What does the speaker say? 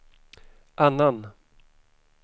annan